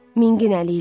Mingin əliylə.